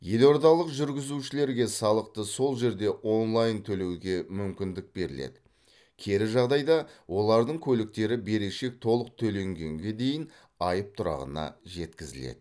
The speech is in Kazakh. елордалық жүргізушілерге салықты сол жерде онлайн төлеуге мүмкіндік беріледі кері жағдайда олардың көліктері берешек толық төленгенге дейін айып тұрағына жеткізіледі